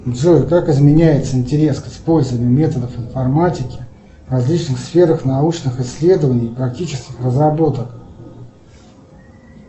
джой как изменяется интерес к использованию методов информатики в различных сферах научных исследований и практических разработок